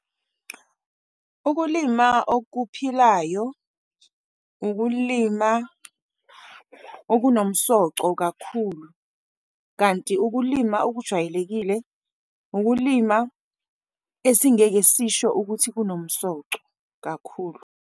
Ukulima okuphilayo, ukulima okunomsoco kakhulu, kanti ukulima okujwayelekile ukulima esingeke sisho ukuthi kunomsoco kakhulu.